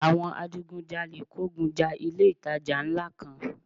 Àwọn adigun jalè kógun ja ilé ìtajà ńlá kan